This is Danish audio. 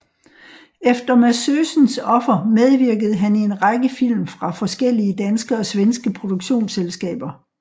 Efter Massösens offer medvirkede han i en række film fra forskellige danske og svenske produktionsselskaber